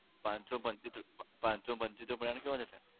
પાંચ સો પંચોતેર, પાંચ સો પંચોતેર નો plan કેવો રેહશે?